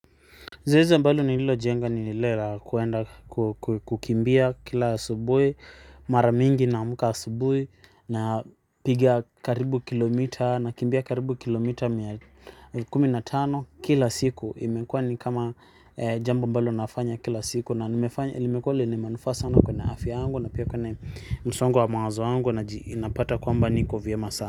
Zeze ambalo nililojenga ni lile la kuenda kukimbia kila asubuhi mara mingi naamka asubuhi na piga karibu kilomita na kimbia karibu kilomita mia kumi na tano kila siku imekuwa ni kama jambo ambalo nafanya kila siku na nimefanya limekuwa lenye manufaa sana kwenye afya yangu na pia kwenye msongo wa mawazo yangu inapata kwamba niko vyema sana.